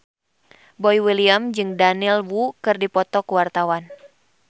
Boy William jeung Daniel Wu keur dipoto ku wartawan